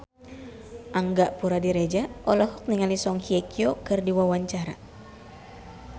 Angga Puradiredja olohok ningali Song Hye Kyo keur diwawancara